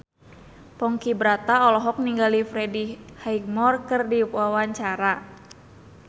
Ponky Brata olohok ningali Freddie Highmore keur diwawancara